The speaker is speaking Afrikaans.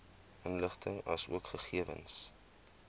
inligting asook gegewens